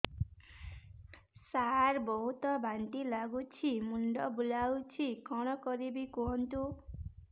ସାର ବହୁତ ବାନ୍ତି ଲାଗୁଛି ମୁଣ୍ଡ ବୁଲୋଉଛି କଣ କରିବି କୁହନ୍ତୁ